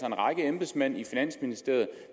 en række embedsmænd i finansministeriet